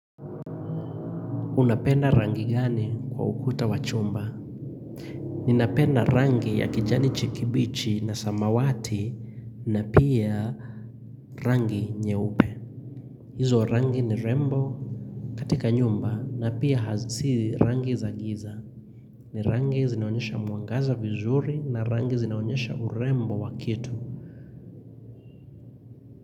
Unapenda rangi gani kwa ukuta wa chumba? Ninapenda rangi ya kijani kibichi na samawati na pia rangi nyeupe. Hizo rangi ni rembo katika nyumba na pia si rangi za giza. Ni rangi zinaonyesha mwangaza vizuri na rangi zinaonyesha urembo wa kitu.